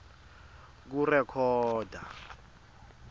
kurekhoda